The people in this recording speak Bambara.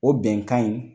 O bɛnkan in